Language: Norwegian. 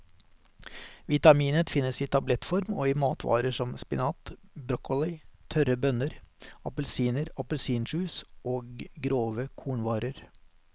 Vitaminet finnes i tablettform og i matvarer som spinat, broccoli, tørre bønner, appelsiner, appelsinjuice og grove kornvarer.